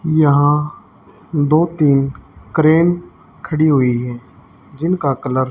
यहां दो तीन क्रेन खड़ी हुई है जिनका कलर --